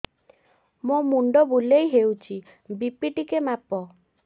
ମୋ ମୁଣ୍ଡ ବୁଲେଇ ହଉଚି ବି.ପି ଟିକେ ମାପ